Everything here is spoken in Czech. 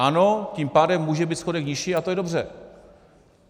Ano, tím pádem může být schodek nižší a to je dobře.